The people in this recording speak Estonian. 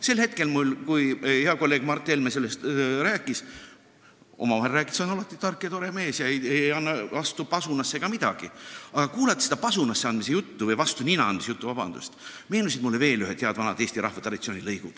Sel hetkel, kui hea kolleeg Mart Helme rääkis – omavahel rääkides on ta alati tark ja tore mees, ei anna pasunasse ega midagi – seda pasunasse andmise juttu, vabandust, vastu nina andmise juttu, meenus mulle veel üks hea vana eesti rahva traditsioon.